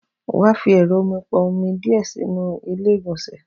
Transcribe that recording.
Wàá fi ẹ̀rọ omi pọn omi díè sínú ilé ìgbònsè